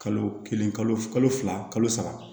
Kalo kelen kalo fila kalo saba